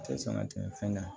Tɛ sɔn ka tɛmɛ fɛn kan